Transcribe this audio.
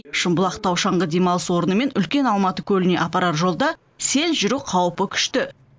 шымбұлақ тау шаңғы демалыс орны мен үлкен алматы көліне апарар жолда сел жүру қаупі күшті